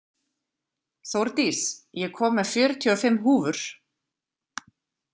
Þórdís, ég kom með fjörutíu og fimm húfur!